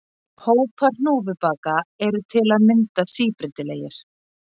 Hópar hnúfubaka eru til að mynda síbreytilegir.